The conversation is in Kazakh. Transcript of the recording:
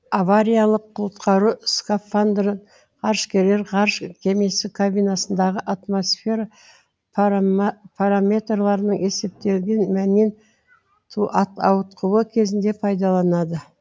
авариялық құтқару скафандрын ғарышкерлер ғарыш кемесі кабинасындағы атмосфера параметрларының есептелген мәннен ауытқуы кезінде пайдаланады